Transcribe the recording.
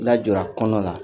Lajɔra kɔnɔna la